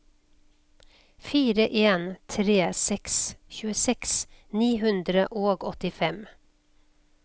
fire en tre seks tjueseks ni hundre og åttifem